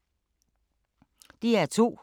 DR2